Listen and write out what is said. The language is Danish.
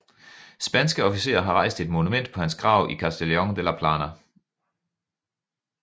Spanske officerer har rejst et monument på hans grav i Castellon de la Plana